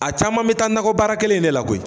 A caman bɛ taa nakɔ baara kelen in de la koyi.